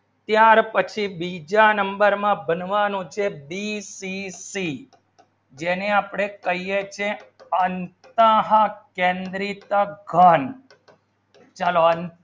ચાર પછી બીજા number નું બનવાનું છે BCC જેને અપને કહીયે છે અન્તઃ કેન્દ્રિત ઘણ ચલો